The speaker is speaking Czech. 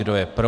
Kdo je pro?